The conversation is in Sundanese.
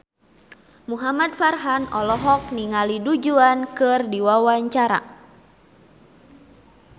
Muhamad Farhan olohok ningali Du Juan keur diwawancara